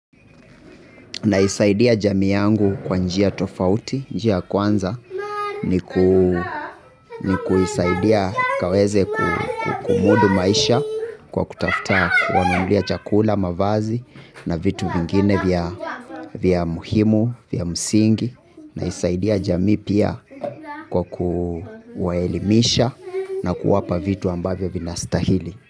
Naisaidia jamii yangu kwa njia tofauti, njia kwanza, ni kuisaidia kaweze kumudu maisha kwa kutafta, kuwanunulia chakula, mavazi na vitu vingine vya muhimu, vya msingi, naisaidia jamii pia kwa kuwaelimisha na kuwapa vitu ambavyo vinastahili.